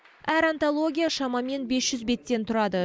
әр антология шамамен бес жүз беттен тұрады